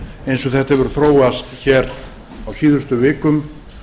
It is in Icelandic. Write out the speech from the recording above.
eins og þetta hefur þróast hér á síðustu vikum